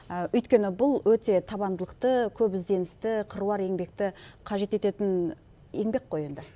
өйткені бұл өте табандылықты көп ізнедісті қыруар еңбекті қажет ететін еңбек қой енді